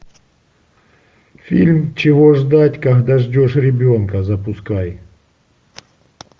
фильм чего ждать когда ждешь ребенка запускай